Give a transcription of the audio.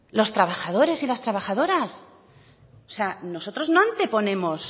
los trabajadores y las trabajadoras o sea nosotros no anteponemos